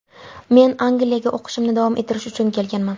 Men Angliyaga o‘qishimni davom ettirish uchun kelganman.